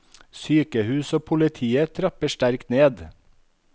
Sykehus og politiet trapper sterkt ned.